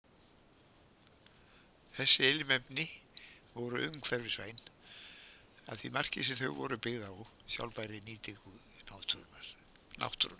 Þessi ilmefni voru umhverfisvæn að því marki sem þau voru byggð á sjálfbærri nýtingu náttúrunnar.